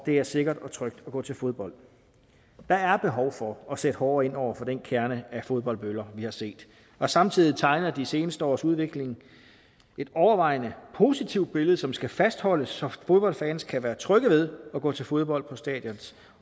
er sikkert og trygt at gå til fodbold der er behov for at sætte hårdere ind over for den kerne af fodboldbøller vi har set og samtidig tegner de seneste års udvikling et overvejende positivt billede som skal fastholdes så fodboldfans kan være trygge ved at gå til fodbold på stadions